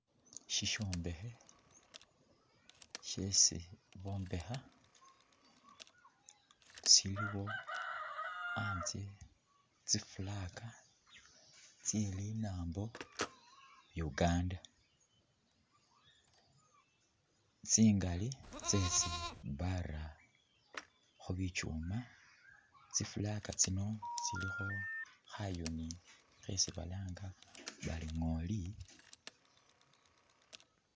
Sisyombekhe syesi bombekha siliwo anzye tsi flag, tsye linambo Uganda tsingali tsesi bara khu bichuma, tsi flag tsino tsilikho khayuni khesi balanga bari ngooli.